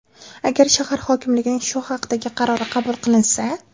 Agar shahar hokimligining shu haqdagi qarori qabul qilinsa.